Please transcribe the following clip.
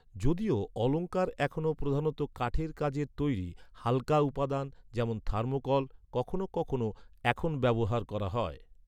যদিও অলঙ্কার এখনও প্রধানত কাঠের কাজের তৈরি, হাল্কা উপাদান, যেমন থার্মোকল, কখনও কখনও এখন ব্যবহার করা হয়।